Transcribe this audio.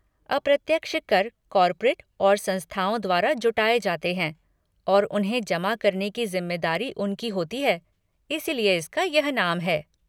अप्रत्यक्ष कर कॉर्पोरेट और संस्थाओं द्वारा जुटाए जाते हैं और उन्हें जमा करने की जिम्मेदारी उनकी होती है, इसलिए इसका यह नाम है।